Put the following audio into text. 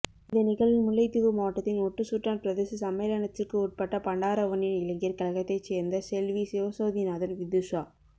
இந்த நிகழ்வின் முல்லைத்தீவு மாவட்டத்தின் ஒட்டுசுட்டான் பிரதேச சம்மேளனத்திற்கு உட்பட்ட பண்டாரவன்னியன் இளைஞர் கழகத்தைச் சேர்ந்த செல்வி சிவசோதிநாதன் விதுஷா